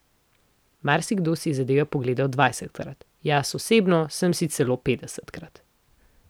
Marsikdo si je zadevo pogledal dvajsetkrat, jaz osebno sem si celo petdesetkrat.